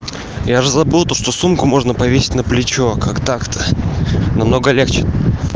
я уже забыл то что сумку можно повесить на плечо как так-то намного легче